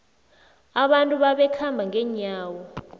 abantu babekhamba ngenyawo